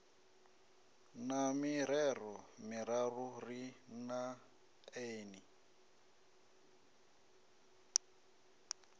na mirero miraru ri neeni